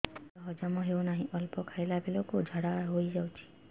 ଖାଦ୍ୟ ହଜମ ହେଉ ନାହିଁ ଅଳ୍ପ ଖାଇଲା ବେଳକୁ ଝାଡ଼ା ହୋଇଯାଉଛି